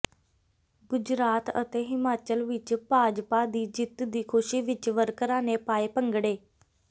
ਗੁਜਰਾਤ ਅਤੇ ਹਿਮਾਚਲ ਵਿੱਚ ਭਾਜਪਾ ਦੀ ਜਿੱਤ ਦੀ ਖੁਸ਼ੀ ਵਿੱਚ ਵਰਕਰਾਂ ਨੇ ਪਾਏ ਭੰਗੜੇ